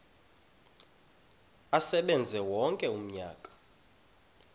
asebenze wonke umnyaka